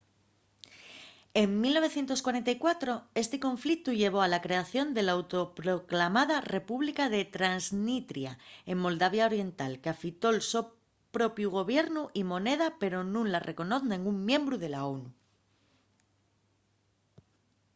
en 1944 esti conflictu llevó a la creación de l’auto-proclamada república de transnistria en moldavia oriental qu’afitó’l so propiu gobiernu y moneda pero nun la reconoz nengún miembru de la onu